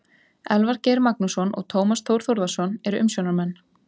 Elvar Geir Magnússon og Tómas Þór Þórðarson eru umsjónarmenn.